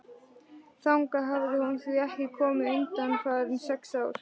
Þangað hafði hún því ekki komið undanfarin sex ár.